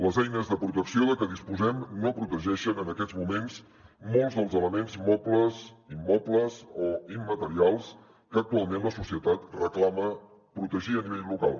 les eines de protecció de què disposem no protegeixen en aquests moments molts dels elements mobles immobles o immaterials que actualment la societat reclama protegir a nivell local